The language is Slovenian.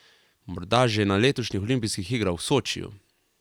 Morda že na letošnjih olimpijskih igrah v Sočiju...